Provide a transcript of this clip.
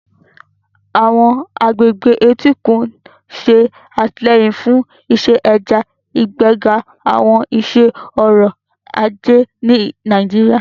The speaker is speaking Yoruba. Àwọn agbègbè etíkun ń ṣe àtìlẹ́yìn fún iṣẹ́ ẹja, ìgbéga àwọn iṣẹ́ ọrọ̀ ajé ní Nàìjíríà.